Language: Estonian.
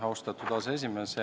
Austatud aseesimees!